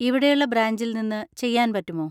ഇവിടെയുള്ള ബ്രാഞ്ചിൽ നിന്ന് ചെയ്യാൻ പറ്റുമോ?